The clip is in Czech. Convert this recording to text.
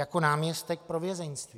Jako náměstek pro vězeňství.